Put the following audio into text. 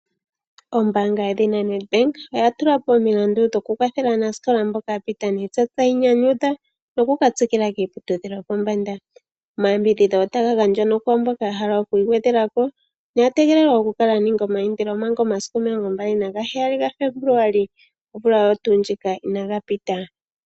Ombaanga yedhina Nedbank oya tula po omilandu dhoku kwathela aanasikola mboka ya pita niitsa tayi nyanyudha noku ka tsikila kiiputudhilo yopombanda .Omayambidhidho otaga gandjwa nokwaa mboka ya hala okwiigwedhela ko noya tegelelwa oku kala ya ninga omaindilo omanga omasiku omilongombali nagaheyali gaFebuluali omvula oyo tuu ndjika inaga pita.